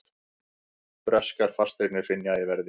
Breskar fasteignir hrynja í verði